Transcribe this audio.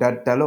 Dadalo